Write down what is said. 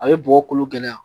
A bɛ bɔgɔ kolo gɛlɛya